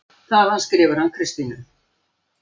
Þaðan skrifar hann Kristínu